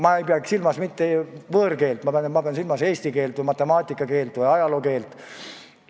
Ma ei pea silmas võõrkeelt, ma pean silmas eesti keelt, matemaatika keelt või ajaloo keelt.